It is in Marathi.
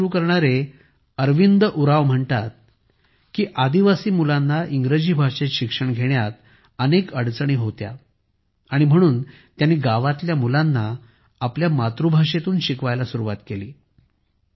ही शाळा सुरु करणारे अरविंद उरांव म्हणतात की आदिवासी मुलांना इंग्रजी भाषेत शिक्षण घेण्यात अडचणी होत्या म्हणून त्यांनी गावातील मुलांना आपल्या मातृभाषेत शिकवण्यास सुरुवात केली